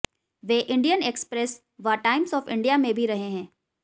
वे Indian Express व Times of India में भी रहे हैं